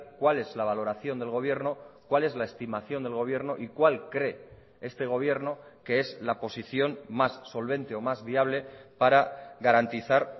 cuál es la valoración del gobierno cuál es la estimación del gobierno y cuál cree este gobierno que es la posición más solvente o más viable para garantizar